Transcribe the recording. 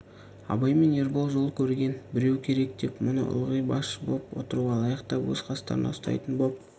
абай мен ербол жол көрген біреу керек деп мұны ылғи басшы боп отыруға лайықтап өз қастарында ұстайтын боп